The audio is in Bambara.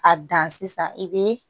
A dan sisan i bɛ